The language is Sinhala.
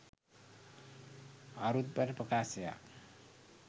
අරුත්බර ප්‍රකාශයක්